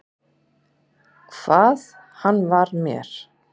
Hvað hann var mér.